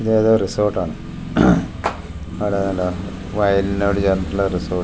ഇതേതോ resort ആണ് അവടെ നല്ല വയലിനോടു ചേര്‍ന്നിട്ടുള്ള റിസോര്‍ട്ട് .